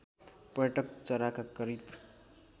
पर्यटक चराका करिब